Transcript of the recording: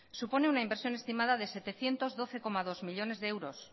supone una inversión estimada de setecientos doce coma dos millónes de euros